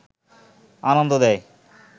আনন্দ দেয়